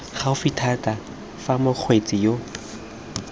gaufi thata fa mokgweetsi yo